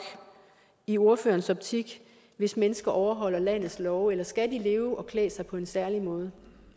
i ordførerens optik hvis mennesker overholder landets love eller skal de leve og klæde sig på en særlig måde